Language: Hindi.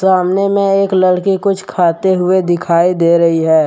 सामने में एक लड़की कुछ खाते हुए दिखाई दे रही है।